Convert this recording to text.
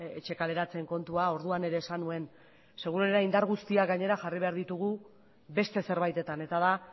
etxe kaleratzeen kontua orduan ere esan nuen seguruena indar guztiak gainera jarri behar ditugu beste zerbaitetan eta da